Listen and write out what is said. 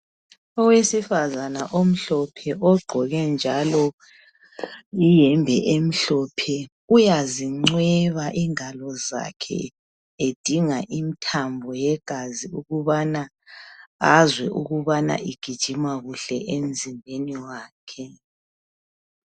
Owesifazana omhlophe ogqoke njalo iyembe emhlophe uyazincweba ingalo zakhe edinga imithambo yegazi ukubana azwe ukubana igijima kuhle emzimbeni wakhe.